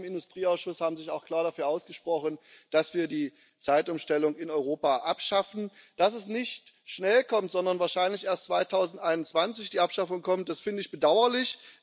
Die Mehrheit im Industrieausschuss hat sich auch klar dafür ausgesprochen, dass wir die Zeitumstellung in Europa abschaffen. Dass die Abschaffung nicht schnell kommt, sondern wahrscheinlich erst 2021, das finde ich bedauerlich.